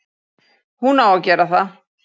Hún á að gera það.